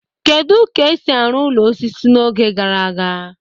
Kedu ka esi arụ ụlọ osisi n'oge gara aga?